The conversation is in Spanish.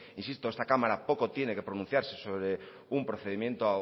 insito esta cámara poco tiene que pronunciarse sobre un procedimiento